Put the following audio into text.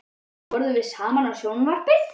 Um kvöldið horfðum við saman á sjónvarpið.